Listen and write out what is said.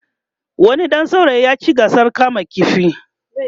wani ɗan saurayi ya ci gasar kamun ƙifi